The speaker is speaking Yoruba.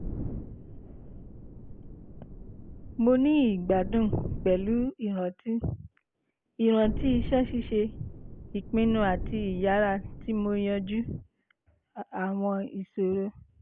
mo ni igbadun pẹlu iranti iranti iṣẹ ṣiṣe ipinnu ati iyara ti mo yanju awọn iṣoro